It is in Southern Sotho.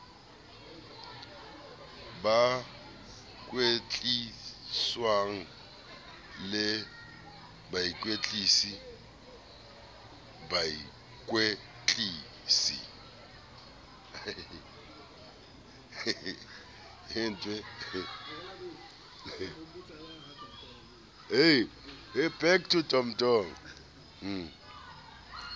ba kwetliswang le bakwetlisi bakwetlisi